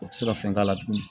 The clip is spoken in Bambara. O tɛ se ka fɛn k'a la tugun